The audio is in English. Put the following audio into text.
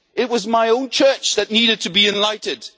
It was my own church that needed to be enlightened.